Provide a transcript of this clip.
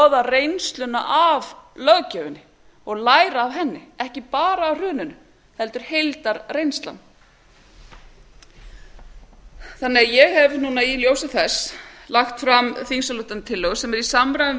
að skoða reynsluna af löggjöfinni og læra af henni ekki bara af hruninu heldur heildarreynslaan ég hef í ljósi þess lagt fram þingsályktunartillögu sem er í samræmi við